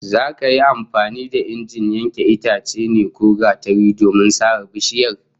Za ka yi amfani da injin yankan itacen ne ko gatari domin sare bishiyar?